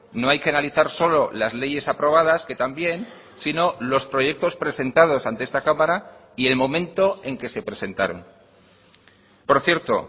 no hay que analizar solo las leyes aprobadas que también sino los proyectos presentados ante esta cámara y el momento en que se presentaron por cierto